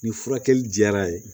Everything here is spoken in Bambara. Ni furakɛli diyara ye